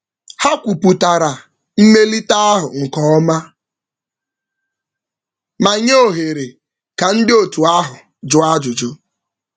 Ha kwupụtara mmelite ahụ nke ọma ma nye ohere ka ndị otu ahụ jụọ ajụjụ.